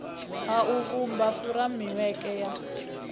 a u vhumba furemiweke ya